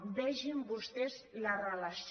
vegin vostès la relació